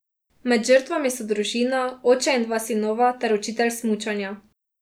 Med žrtvami so družina, oče in dva sinova, ter učitelj smučanja.